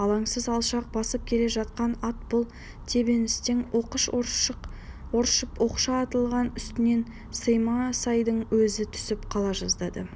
алаңсыз алшақ басып келе жатқан ат бұл тебіністен оқыс ыршып оқша атылғанда үстінен саймасайдың өзі түсіп қала жаздады